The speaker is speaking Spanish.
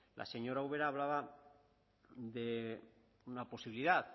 la señora ubera hablaba de una posibilidad